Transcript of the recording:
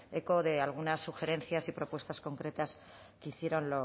eco de algunas sugerencias y propuestas concretas que hicieron